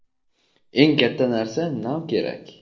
Eng katta narsa - nav kerak.